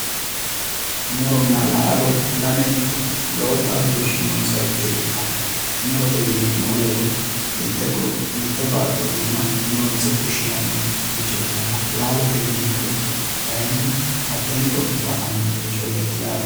Muronna laalo lamenti lowo xaadooshshi noonsaricho ikkitanna murote yineemmo woyiite mitte baatto iima loonse fushshinanniricho ikkanna laalote yineemmorichi kaayiinni hattee muro giddo afamannorichooti yaate.